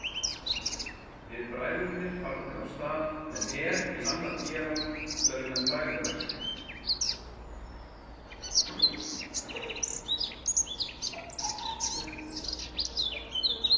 Við bræðurnir farnir af stað með her í annað hérað til að vinna frægðarverk.